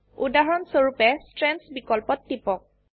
উদাহৰণ স্বৰুপে ষ্ট্ৰেণ্ডছ বিকল্পত টিপক